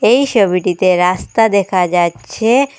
এই সবিটিতে রাস্তা দেখা যাচ্ছে।